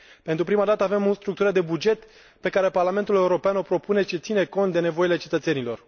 Pentru prima dată avem o structură de buget pe care Parlamentul European o propune, ce ține cont de nevoile cetățenilor.